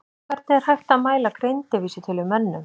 Hvernig er hægt að mæla greindarvísitölu í mönnum?